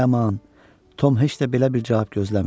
Ay aman, Tom heç də belə bir cavab gözləmirdi.